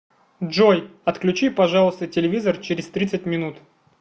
джой отключи пожалуйста телевизор через тридцать минут